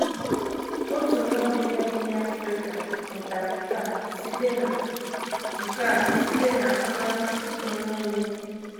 Otu nwa Obibịa bi n’Africa mụtara nke a site nke a site n’ahụmahụ onwe onye.